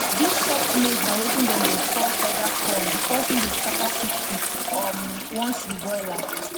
dis soft maize na wetin dem dey call feather corn because e dey scatter quickquick um once you boil am